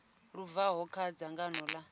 lu bvaho kha dzangano ḽa